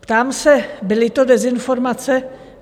Ptám se, byly to dezinformace?